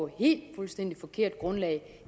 helt fuldstændig forkert grundlag